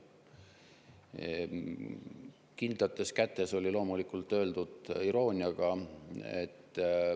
See "kindlates kätes" oli loomulikult öeldud irooniaga.